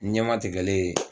Ɲɛmatigɛlen